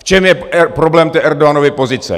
V čem je problém té Erdoganovi pozice?